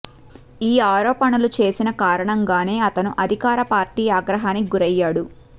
ఈ ఆరోపణలు చేసిన కారణంగానే అతను అధికార పార్టీ ఆగ్రహానికి గురయ్యాడు